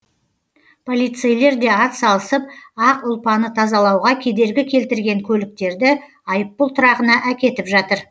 полицейлер де атсалысып ақ ұлпаны тазалауға кедергі келтірген көліктерді айыппұл тұрағына әкетіп жатыр